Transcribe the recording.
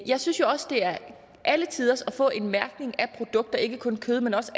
jeg synes også det er alletiders at få en mærkning af produkter ikke kun kød men også